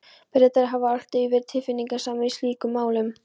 Bretar hafa alltaf verið tilfinningasamir í slíkum málum.